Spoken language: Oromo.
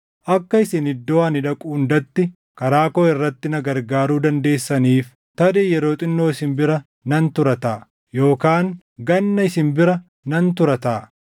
Akka isin iddoo ani dhaqu hundatti karaa koo irratti na gargaaruu dandeessaniif tarii yeroo xinnoo isin bira nan tura taʼa; yookaan ganna isin bira nan tura taʼa.